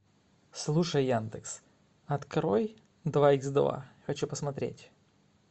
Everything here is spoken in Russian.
слушай яндекс открой два икс два хочу посмотреть